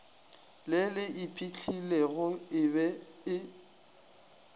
le le iphihlilego e be